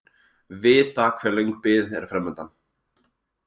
Vita hve löng bið er framundan